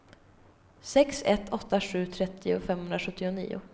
sex ett åtta sju trettio femhundrasjuttionio